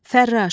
Fərraş.